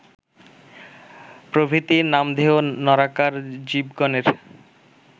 প্রভৃতি নামধেয় নরাকার জীবগণের